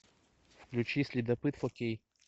включи следопыт фо кей